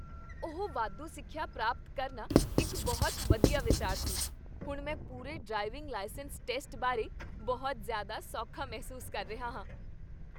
ਉਹ ਵਾਧੂ ਸਿੱਖਿਆ ਪ੍ਰਾਪਤ ਕਰਨਾ ਇੱਕ ਬਹੁਤ ਵਧੀਆ ਵਿਚਾਰ ਸੀ! ਹੁਣ ਮੈਂ ਪੂਰੇ ਡਰਾਈਵਿੰਗ ਲਾਇਸੈਂਸ ਟੈਸਟ ਬਾਰੇ ਬਹੁਤ ਜ਼ਿਆਦਾ ਸੌਖਾ ਮਹਿਸੂਸ ਕਰ ਰਿਹਾ ਹਾਂ।